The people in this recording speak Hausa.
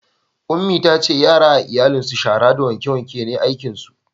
Ummi ta ce yara a iyalin su shara da wanke wanke ne aikin su